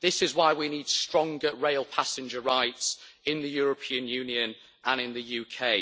This is why we need stronger rail passenger rights in the European Union and in the UK.